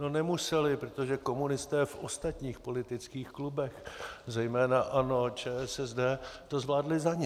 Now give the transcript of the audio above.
No, nemuseli, protože komunisté v ostatních politických klubech, zejména ANO, ČSSD, to zvládli za ně.